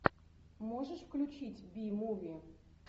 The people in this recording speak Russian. можешь включить би муви